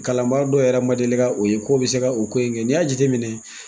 Kalanbaa dɔ yɛrɛ ma deli ka o ye ko o bi se ka o ko in kɛ n'i y'a jateminɛ